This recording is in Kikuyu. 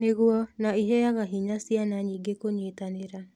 Nĩguo, na ĩheaga hinya ciana nyingĩ kũnyitanĩra.